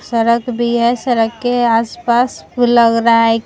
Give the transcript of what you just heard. सड़क भी है सड़क के आस-पास फूल लग रहा है कि --